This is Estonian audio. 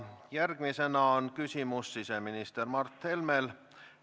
Järgmisena küsimus siseminister Mart Helmele.